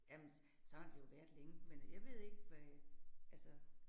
Jamen sådan har det jo været længe, men jeg ved ikke hvad altså